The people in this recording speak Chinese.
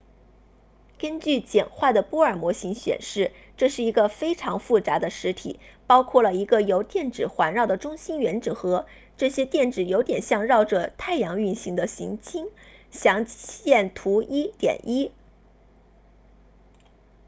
根据简化的波尔模型显示这是一个非常复杂的实体包含了一个由电子环绕的中心原子核这些电子有点像绕着太阳运行的行星详见图 1.1